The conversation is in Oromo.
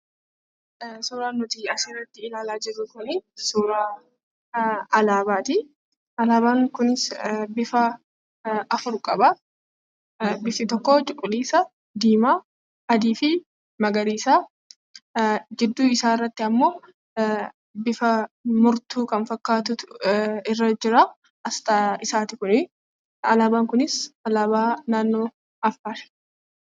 Suuraan nuti asirratti ilaalaa jirru kun suuraa alaabaati. Alaabaan kunis bifa afur qaba. Bifti tokko cuquliisa, diimaa, adii fi magariisa. Jidduu isaarrattimmoo bifa murtuu kan fakkaatutu irra jira. Alaabaan kunis alaabaa naannoo Affaari.